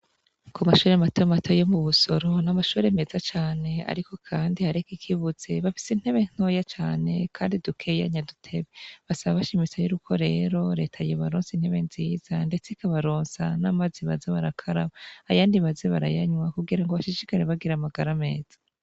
Ku mashuri mato mato yo mu Busoro n'amashuri meza cane ariko kandi hariko ikibuze bafise intebe ntoya kandi dukeya nya dutebe cane basaba bashimitse yuko rero reta yobaronsa intebe nziza ndetse ikabaronsa n'amazi baza bara karaba ayandi baze barayanwa kugira bashishikare bagira amagara meza.